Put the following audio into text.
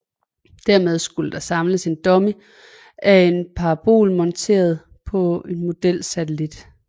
Dernede skulle der samles en dummy af en parabol monteret på en modelsatellit